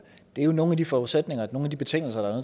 det er jo nogle af de forudsætninger nogle af de betingelser